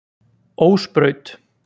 Ósbraut